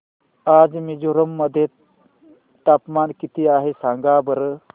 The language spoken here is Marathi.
आज मिझोरम मध्ये तापमान किती आहे सांगा बरं